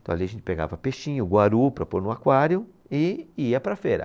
Então ali a gente pegava peixinho, guaru, para pôr no aquário e, e ia para feira.